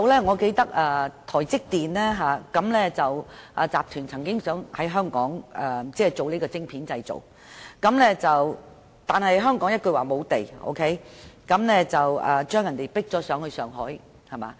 我記得台積電集團曾經計劃在香港生產晶片，但香港一句沒有土地，將他們趕到上海。